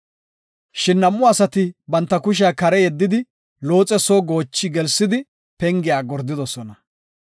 Shin nam7u asati banta kushiya kare yeddidi Looxe soo goochi gelsidi pengiya gordidosona.